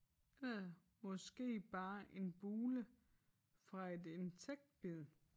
Eller måske bare en bule fra et insektbid